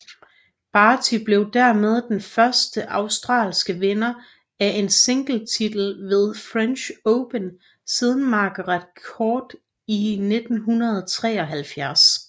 Barty blev dermed den første australske vinder af en singletitel ved French Open siden Margaret Court i 1973